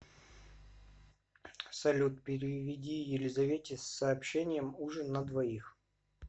салют переведи елизавете с сообщением ужин на двоих